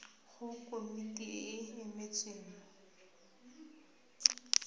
go komiti e e emetseng